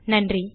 நன்றி